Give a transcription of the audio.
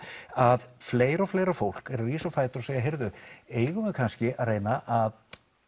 að fleira og fleira fólk er að rísa á fætur og segja heyrðu eigum við kannski að reyna að